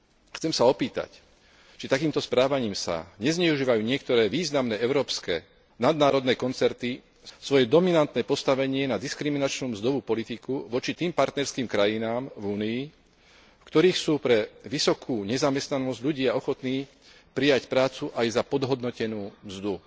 Chcem sa opýtať, či takýmto správaním sa nezneužívajú niektoré významné európske nadnárodné koncerny svoje dominantné postavenie na diskriminačnú mzdovú politiku voči tým partnerským krajinám v Únii, v ktorých sú pre vysokú nezamestnanosť ľudia ochotní prijať prácu aj za podhodnotenú mzdu.